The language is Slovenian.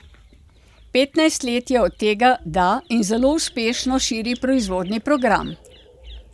Petnajst let je od tega, da, in zelo uspešno širi proizvodni program.